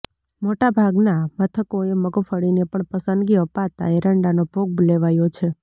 મોટા ભાગના મથકોએ મગફળીને પણ પસંદગી અપાતા એરંડાનો ભોગ લેવાયો છે